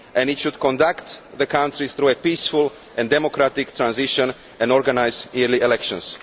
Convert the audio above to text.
It should conduct the country through a peaceful and democratic transition and organise early elections.